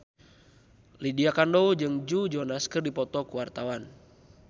Lydia Kandou jeung Joe Jonas keur dipoto ku wartawan